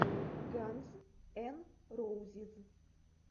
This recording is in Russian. ганз эн роузиз